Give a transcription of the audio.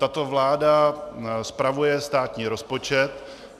Tato vláda spravuje státní rozpočet.